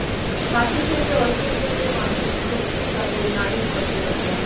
হাতি থেকে অল্পের জন্য বাঁচলেন সেলফি পাগল নারী পর্যটকরা